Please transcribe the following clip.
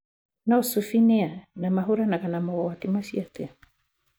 No Sufi nĩa, na mahũranaga na mogwati macio atĩa?